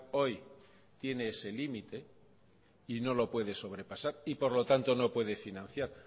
hoy tiene ese límite y no lo puede sobrepasar y por lo tanto no puede financiar